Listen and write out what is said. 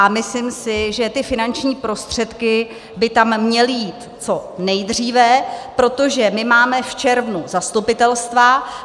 A myslím si, že ty finanční prostředky by tam měly jít co nejdříve, protože my máme v červnu zastupitelstva.